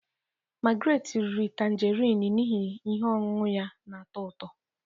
Margret riri tanjarin n'ihi ihe ọṅụṅụ ya na-atọ ụtọ.